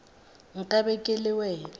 nka be ke le wena